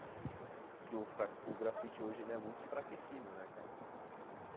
Porque o fra o grafite hoje é muito enfraquecido né cara.